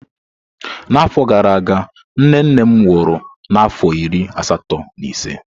N'afọ gara aga, nne nne m nwụrụ n'afọ iri asatọ na ise.